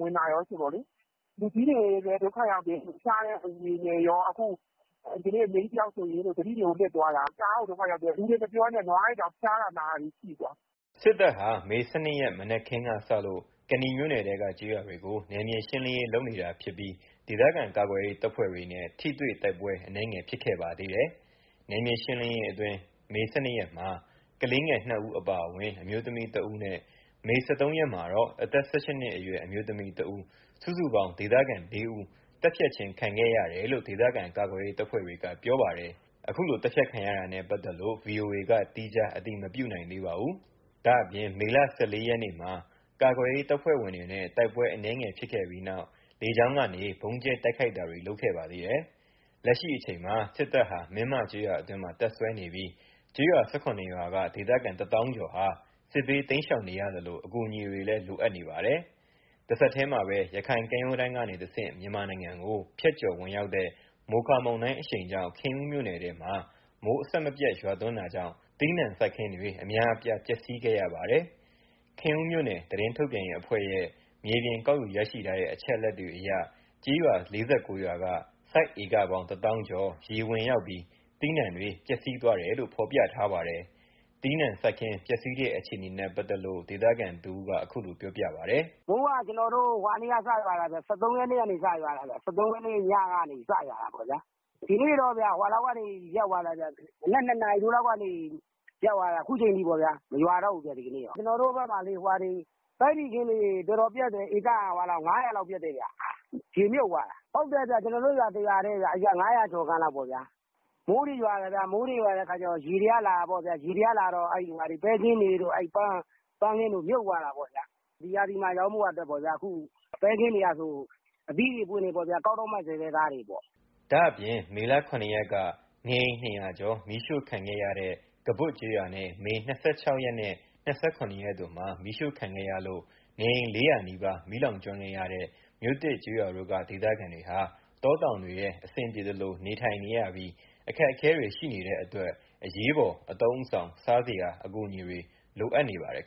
ဝင်တာကောဆိုတော့လေ။ လူကြီးတွေလည်း ဒုက္ခရောက်တယ်။ ဖျားတဲ့သူတွေနဲ့ကော ဒီကနေ့ အမေကြီးတယောက်ဆိုရင် သတိတွေကို လစ်သွားတာ။ တအားကို ဒုက္ခရောက်တယ်။ လူတွေမပြောနဲ့၊ နွားတွေတောင် ဖျားတာ နာတာတွေရှိတာ။” စစ်တပ်ဟာ မေ ၁၂ ရက်မှာ မနက်ခင်းကစလို့ ကနီမြို့နယ်ထဲက ကျေးရွာတွေကို နယ်မြေရှင်းလင်းရေးလုပ်နေပြီး ဒေသခံကာကွယ်ရေး တပ်ဖွဲ့ဝင်တွေနဲ့ ထိတွေ့တိုက်ပွဲ အနည်းဖြစ်ခဲ့ပါသေးတယ်။ နယ်မြေရှင်းလင်းရေးအတွင်း မေ ၁၂ ရက်မှာ ကလေး ငယ် ၂ ဦးအပါအဝင် အမျိုးသမီးတဦးနဲ့ မေ ၁၃ ရက်မှာတော့ အသက် ၁၈ နှစ်အရွယ် အမျိုးသမီးတဦး စုစုပေါင်း ဒေသခံ ၄ ဦး သတ်ဖြတ်ခံခဲ့ရတယ်လို့ ဒေသခံကာကွယ်ရေးတပ်ဖွဲ့တွေက ပြောပါတယ်။ သတ်ဖြတ်ခံရတာနဲ့ပတ်သက်လို့ ဗွီအိုအေက သီးခြား အတည်မပြုနိုင်သေးပါဘူး။ ဒါ့ပြင် မေ ၁၄ ရက်၊ မနေ့ကလည်း ကာကွယ်ရေးတပ်ဖွဲ့ဝင်တွေနဲ့ တိုက်ပွဲအနည်းငယ်ဖြစ်ခဲ့ပြီးနောက် လေကြောင်းကနေ ဗုံးကြဲ တိုက်ခိုက်ခဲ့ပါသေးတယ်။ လက်ရှိအချိန် စစ်တပ်ဟာ မင်းမကျေးရွာအတွင်းမှာ တပ်စွဲနေပြီး ကျေးရွာ ၁၇ ရွာက ဒေသခံတသောင်းကျော်ဟာ စစ်ဘေးတိမ်းရှောင်နေရသလို အကူအညီတွေလည်း လိုအပ်နေပါတယ်။ တဆက်တည်းမှာပဲ ရခိုင်ကမ်းရိုးတမ်းကနေတဆင့် မြန်မာနိုင်ငံကို ဖြတ်ကျော်ဝင်ရောက်တဲ့ မိုခါမုန်တိုင်အရှိန်ကြောင့် ခင်ဦးမြို့နယ်ထဲမှာ မိုးအဆက်မပြတ်ရွာသွန်းပြီး သီးနှံစိုက်ခင်းတွေ အများအပြား ပျက်စီးခဲ့ရပါတယ်။ ခင်ဦးမြို့နယ် သတင်းထုတ်ပြန်ရေးအဖွဲ့ရဲ့ မြေပြင် ကောက်ယူရရှိထားတဲ့ အချက်အလက်တွေအရ ကျေးရွာ ၄၉ ရွာက စိုက်ဧကပေါင်းတသောင်းကျော် ရေဝင်ရောက်ပြီး သီးနှံတွေ ပျက်စီးသွားတယ်လို့ ဖော်ပြထားပါတယ်။ သီးနှံစိုက်ခင်းပျက်စီးတဲ့အခြေအနေနဲ့ပတ်သက်လို့ ဒေသခံတဦး အခုလို ပြောပြပါတယ်။ “မိုးက ၁၃ ရက်နေ့ကနေစရွာတာ။ ၁၃ ရက်နေ့ညကနေ စရွာတာပေါ့လေ။ ဒီနေ့ကတော့ မနက် ၂ နာရီထိုးလောက်ကနေ ရပ်သွားတာ အခုချိန်ထိပဲ၊ မရွာတော့ဘူးဗျ။ ကျနော်တို့ဘက်မှာ ပဲတီစိမ်းခင်းတွေ တော်တော်ပျက်တယ်။ ဧက ၅၀၀ လောက်ပျက်တယ်ခင်ဗျ။ ရေမြုပ်သွာတာ။ ဟုတ်တယ် ကျနော်တို့ ရွာ တရွာတည်း ၅၀၀ ကျော်ခန့်လောက်ပေါ့ဗျာ။ မိုးတွေရွာတယ်၊ မိုးရွာတော့ ရေတွေကလာတယ်၊ ရေတွေကလာတော့ ပဲခင်းတွေ ပန်းခင်းတွေ မြုပ်သွားတာပေါ့။ ဒီရာသီမှာရောင်းဖို့ ပဲခင်းတွေကဆို အသီးတွေ အပွင့်တွေပေါ့၊ ကောက်တော့မယ့်ဆဲဆဲပေါ့။” ဒါ့ပြင် မေလ မေလ ၇ ရက်က နေအိမ် ၂၀၀ ကျော် မီးရှို့ခံခဲ့ရတဲ့ ကဘွတ်ကျေးရွာနဲ့ မေ ၂၆ ရက်နဲ့ ၂၇ ရက်တို့မှာ မီးရှို့ခံခဲ့ရလို့ နေအိမ် ၄၀၀ နီးပါး မီးလောင်ကျွမ်းခဲ့ရတဲ့ မြို့သစ်ကျေးရွာတို့က ဒေသခံတွေဟာ တောတောင်တွေထဲ အဆင်ပြေသလို နေထိုင်နေရပြီး အခက်အခဲတွေ ရှိနေတဲ့အတွက် အရေးပေါ် အသုံးအဆောင် စားစရာ အကူအညီတွေ လိုအပ်နေပါတယ်